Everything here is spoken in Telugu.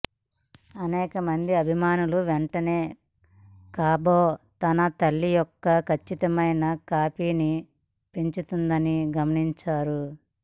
అనేక మంది అభిమానులు వెంటనే గాబో తన తల్లి యొక్క ఖచ్చితమైన కాపీని పెరుగుతుందని గమనించాడు